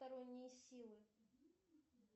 сторонние силы